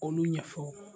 Olu ɲɛfɔ